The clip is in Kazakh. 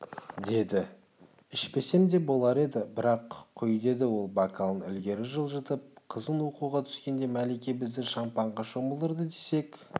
деді ішпесем де болар еді бірақ құй деді ол бокалын ілгері жылжытып қызың оқуға түскенде мәлике бізді шампанға шомылдырды десек